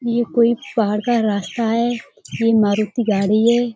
ये कोई पहाड़ का रास्ता है ये कोई मारुती गाड़ी है।